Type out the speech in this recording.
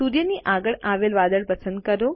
સૂર્યની આગળ આવેલ વાદળ પસંદ કરો